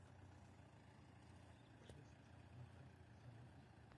крест на карте заводи